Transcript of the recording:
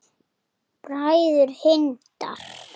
Bræður Hindar